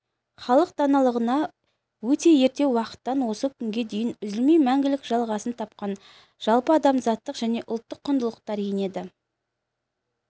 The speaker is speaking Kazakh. халық даналығына өте ерте уақыттан осы күнге дейін үзілмей мәңгілік жалғасын тапқан жалпыадамзаттық және ұлттық құндылықтар енеді